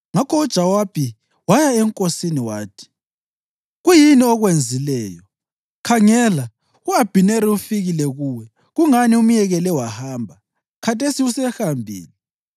Ngakho uJowabi waya enkosini wathi, “Kuyini okwenzileyo? Khangela, u-Abhineri ufikile kuwe. Kungani umyekele wahamba? Khathesi usehambile!